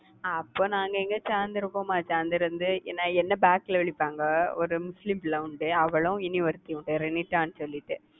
அப்போ நாங்க எங்க சேர்ந்து இருப்போமா சேர்ந்து இருந்து நான் என்னை back ல ஒரு முஸ்லிம் பிள்ளை உண்டு அவளும் இனி ஒருத்தியும் உண்டு ரெனிடானு சொல்லிட்டு.